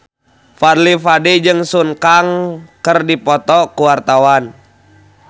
Fadly Padi jeung Sun Kang keur dipoto ku wartawan